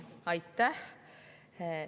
Aitäh!